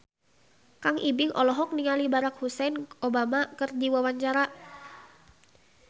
Kang Ibing olohok ningali Barack Hussein Obama keur diwawancara